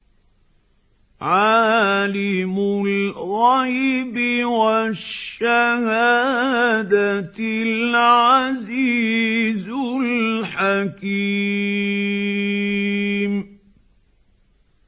عَالِمُ الْغَيْبِ وَالشَّهَادَةِ الْعَزِيزُ الْحَكِيمُ